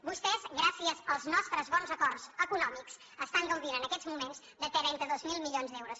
vostès gràcies als nostres bons acords econòmics estan gaudint en aquests moments de trenta dos mil milions d’euros